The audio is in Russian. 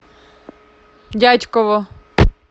дятьково